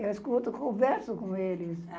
Eu escuto, converso com eles.